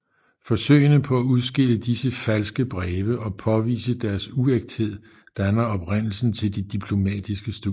Forsøgene på at udskille disse falske breve og påvise deres uægthed danner oprindelsen til de diplomatiske studier